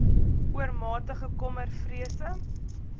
oormatige kommer vrese